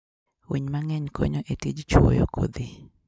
Winy mang'eny konyo e tij chwoyo kodhi.